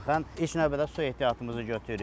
ilk növbədə su ehtiyatımızı götürürük.